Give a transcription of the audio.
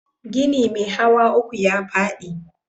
Gini mai hawa uku ya faɗi